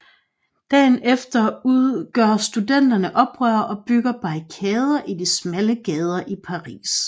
Dagen efter gør studenterne oprør og bygger barrikader i de smalle gader i Paris